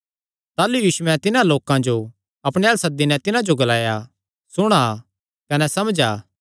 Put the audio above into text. ताह़लू यीशुयैं तिन्हां लोकां जो अपणे अल्ल सद्दी नैं तिन्हां जो ग्लाया सुणा कने समझा